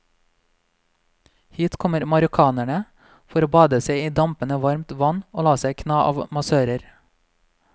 Hit kommer marokkanerne for å bade seg i dampende varmt vann og la seg kna av massører.